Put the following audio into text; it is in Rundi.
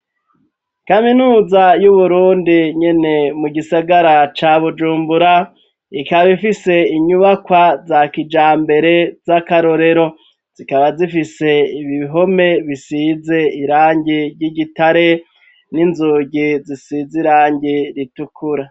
Kaminuza y'uburundi nyene ,mu gisagara ca bujumbura, ikaba ifise inyubakwa za kijambere, z'akarorero, zikaba zifise ibiihome bisize irangi ry'igitare, n'inzugi zisize irangi ritukura.